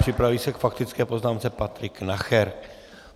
Připraví se k faktické poznámce Patrik Nacher.